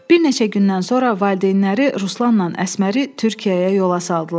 Bir neçə gündən sonra valideynləri Ruslanla Əsməri Türkiyəyə yola saldılar.